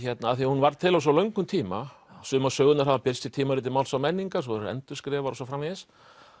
af því hún varð til á svo löngum tíma sumar sögurnar hafa birst í tímariti Máls og menningar svo eru þær endurskrifaðar og svo framvegis